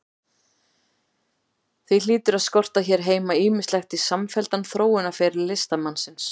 Því hlýtur að skorta hér heima ýmislegt í samfelldan þróunarferil listamannsins.